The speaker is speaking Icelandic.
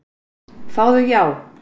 Fáðu já.